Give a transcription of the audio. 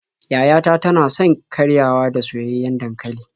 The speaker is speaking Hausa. Yaya ta tana son karyawa da soyayyen dankali.